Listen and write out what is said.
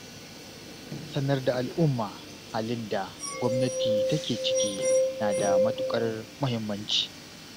Sanar da al'umma halin da gwamnati take ciki na da matuƙar muhimmanci.